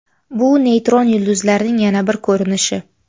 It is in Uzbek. Bu neytron yulduzlarning yana bir ko‘rinishi.